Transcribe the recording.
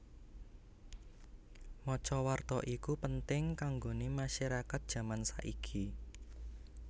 Maca warta iku penting kanggone masyarakat jaman saiki